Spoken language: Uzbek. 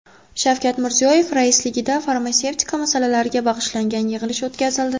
Shavkat Mirziyoyev raisligida farmatsevtika masalalariga bag‘ishlangan yig‘ilish o‘tkazildi.